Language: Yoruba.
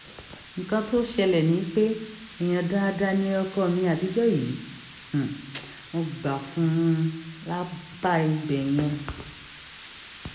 nǹkan tó ṣẹlẹ̀ ni pé èèyàn dáadáa ni ọkọ mi àtijọ́ yìí um mo gbà fún un um lápá ibẹ̀ yẹn